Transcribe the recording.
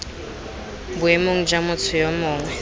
boemong jwa motho yo mongwe